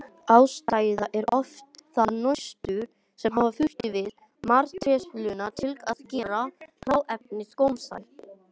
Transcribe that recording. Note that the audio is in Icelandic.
Ástæðan er oft það nostur sem hafa þurfti við matreiðsluna til að gera hráefnið gómsætt.